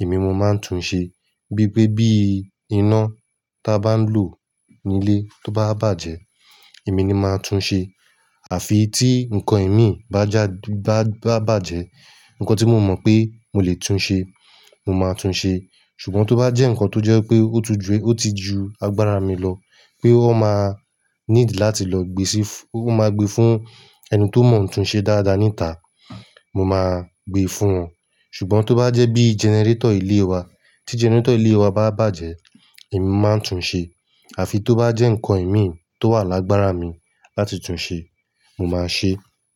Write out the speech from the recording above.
èmi mo máa ń tún ṣe. Bí i pé bí iná ta a bá ń lò nílé tó bá bàjẹ́, èmi ni máa tún ṣe. Àfi tí nǹkan ẹ̀mí bájà bá bàjẹ́, nǹkan tí mo mọ pé mo lè tún ṣe, mo máa tún ṣe. Ṣùgbọ́n tó bá jẹ́ nǹkan tó jẹ́ pé ó ti ju agbára mi lọ pé ó máa need láti lọ gbe fún ẹni tó mọ ń tún ṣe dáadáa níta, mo máa gbe fún wọn. Ṣùgbọ́n tó bá jẹ́ bí generator ilé wa, tí generator ilé wa bá bàjẹ́, èmi máa ń tún ṣe. Àfi tó bá jẹ́ nǹkan ẹ̀mí tó wà lágbára mi láti tún ṣe, mo máa ṣe.